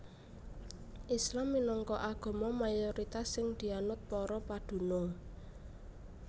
Islam minangka agama mayoritas sing dianut para padunung